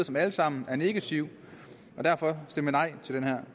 som alle sammen er negative og derfor stemme nej til det her